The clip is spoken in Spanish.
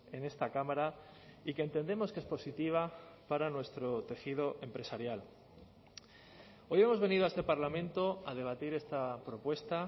en esta cámara y que entendemos que es positiva para nuestro tejido empresarial hoy hemos venido a este parlamento a debatir esta propuesta